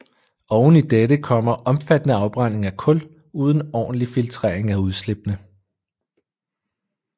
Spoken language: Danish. Oven i dette kommer omfattende afbrænding af kul uden ordentlig filtrering af udslippene